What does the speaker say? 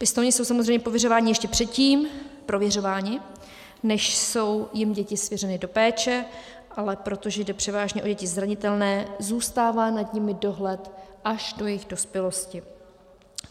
Pěstouni jsou samozřejmě prověřováni ještě předtím, než jsou jim děti svěřeny do péče, ale protože jde převážně o děti zranitelné, zůstává nad nimi dohled až do jejich dospělosti.